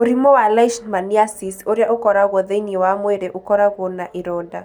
Mũrimũ wa Leishmaniasis ũrĩa ũkoragwo thĩinĩ wa mwĩrĩ ũkoragwo na ironda.